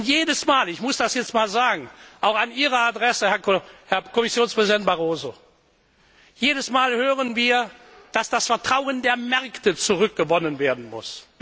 Und jedes Mal ich muss das jetzt einmal sagen, auch an Ihre Adresse, Herr Kommissionspräsident Barroso hören wir, dass das Vertrauen der Märkte zurückgewonnen werden muss.